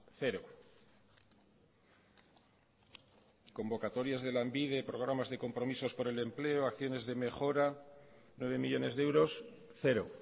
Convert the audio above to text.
cero convocatorias de lanbide programas de compromisos por el empleo acciones de mejora nueve millónes de euros cero